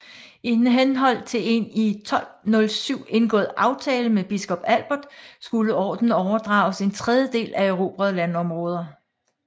I henhold til en i 1207 indgået aftale med biskop Albert skulle ordenen overdrages en tredjedel af erobrede landområder